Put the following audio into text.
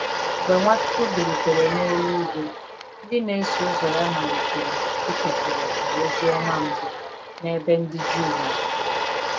Mgbe Nwachukwu bilitere n’eluigwe, ndị na-eso ụzọ ya malitere ịkekọrịta ozi ọma mbụ n’ebe ndị Juu nọ.